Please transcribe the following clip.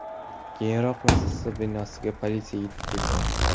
Keyinroq muassasa binosiga politsiya yetib kelgan.